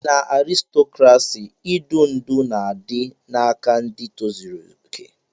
Na arịstokrasị, idu ndú dị n'aka ndị tozuru okè.